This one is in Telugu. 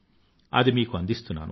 అది మీకు అందిస్తున్నాను